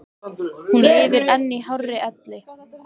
Hún lifir enn í hárri elli.